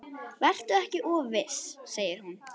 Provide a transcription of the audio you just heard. Vertu ekki of viss, segir hún.